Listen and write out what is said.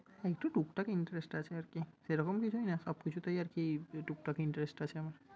একটু টুকটাক interest আছে আরকি। সেরকম কিছুই না, সব কিছুতেই আরকি টুকটাক interest আছে আমার।